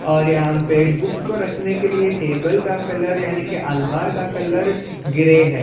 और यहाँ पे बुक्स को रखने के लिए टेबल का कलर यानी की अलमार का कलर ग्रे है।